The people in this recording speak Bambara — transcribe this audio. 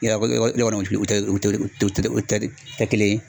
Yɔrɔ o tɛ o tɛ kelen ye.